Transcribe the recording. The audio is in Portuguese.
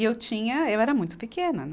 E eu tinha, eu era muito pequena, né?